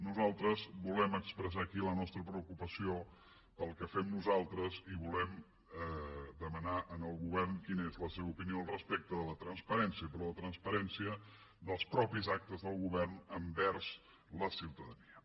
nosaltres volem expressar aquí la nostra preocupació pel que fem nosaltres i volem demanar al govern quina és la seva opinió respecte de la transparència però la transparència dels propis actes del govern envers la ciutadania